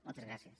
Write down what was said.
moltes gràcies